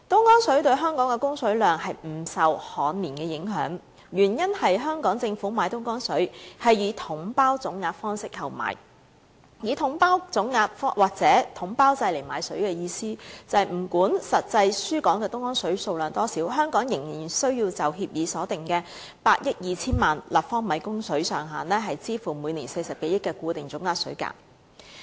東江對港供水量不受旱年影響，原因是香港政府是以"統包總額"的方式購買東江水，以"統包總額"或統包制買水的意思是不管實際輸港的東江水數量多少，香港仍須就協議所訂的8億 2,000 萬立方米供水上限，支付每年40多億元的固定總額水價。